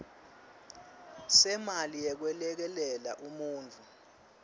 semali yekwelekelela umuntfu